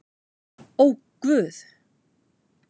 Ó guð!